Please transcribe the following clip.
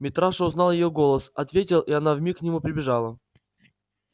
митраша узнал её голос ответил и она вмиг к нему прибежала